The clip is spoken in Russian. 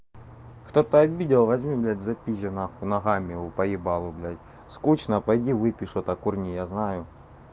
кто-то обидел возьми блядь запизжи нахуй ногами у поебалу блядь скучно пойди выпей что-то курни я знаю